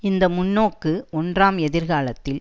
இந்த முன்னோக்கு ஒன்றாம் எதிர் காலத்தில்